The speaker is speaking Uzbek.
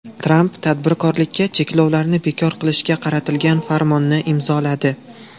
Tramp tadbirkorlikka cheklovlarni bekor qilishga qaratilgan farmonni imzoladi.